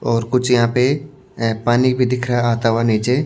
और कुछ यहां पे अ पानी भी दिख रहा है आता हुआ नीचे--